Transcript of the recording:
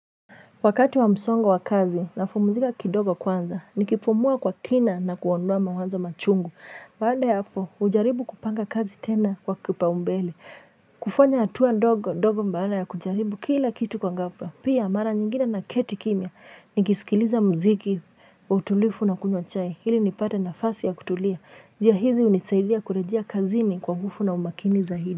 Wakati wa msongo wakazi napumzika kidogo kwanza nikipumua kwa kina na kuondoa mawanzo machungu baada ya hapo ujaribu kupanga kazi tena kwa kupaumbele kufanya hatua ndogo ndogo baada ya kujaribu kila kitu kwa ghafla pia mara nyingine naketi kimya nikisikiliza mziki kwa utulivu na kunywa chai ili nipate nafasi ya kutulia njia hizi hunisaidia kurejia kazini kwa nguvu na umakini zaidi.